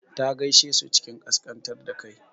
Ta gaishe su cikin ƙasƙantar da kai.